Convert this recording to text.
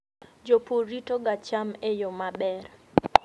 Jopur ritoga cham e yo maber.